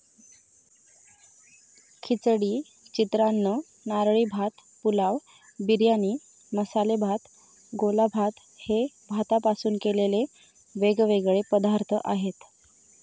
खिचडी, चित्रान्न, नारळी भात, पुलाव, बिर्याणी, मसाले भात, गोलाभात हे भातापासून केलेले वेगवेगळे पदार्थ आहेत.